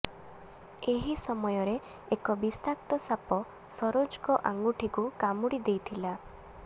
ଏହି ସମୟରେ ଏକ ବିଷାକ୍ତ ସାପ ସରୋଜଙ୍କ ଆଙ୍ଗୁଠିକୁ କାମୁଡ଼ି ଦେଇଥିଲା